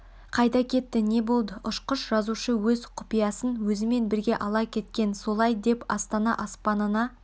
қайда кетті не болды ұшқыш жазушы өз құпиясын өзімен бірге ала кеткен солай деп астана аспанына